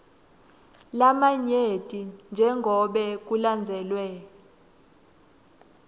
lamanyenti njengobe kulandzelwe